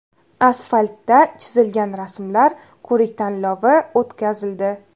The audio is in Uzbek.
Asfaltda chizilgan rasmlar ko‘rik-tanlovi o‘tkazildi.